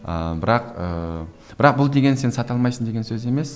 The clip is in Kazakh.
ыыы бірақ ыыы бірақ бұл деген сен сата алмайсың деген сөз емес